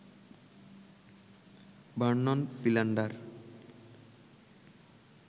Vernon Philander